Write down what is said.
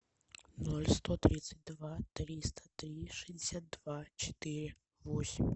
ноль сто тридцать два триста три шестьдесят два четыре восемь